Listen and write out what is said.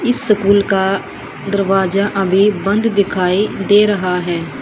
इस स्कूल का दरवाजा अभी बंद दिखाई दे रहा है।